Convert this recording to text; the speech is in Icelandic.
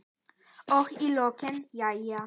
Og í lokin: Jæja.